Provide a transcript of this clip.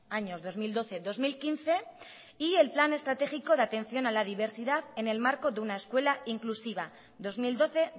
años dos mil doce dos mil quince y el plan estratégico de atención a la diversidad en el marco de una escuela inclusiva dos mil doce